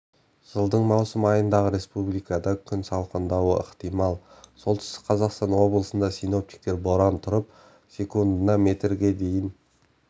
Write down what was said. жылдың маусым айындағы республикада күн салқындауы ықтимал солтүстік қазақстан облысында синоптиктер боран тұрып секундына метрге дейін